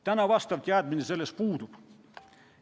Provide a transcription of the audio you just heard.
Täna see teadmine puudub.